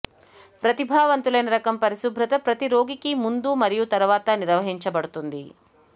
ప్రతిభావంతులైన రకం పరిశుభ్రత ప్రతి రోగికి ముందు మరియు తరువాత నిర్వహించబడుతుంది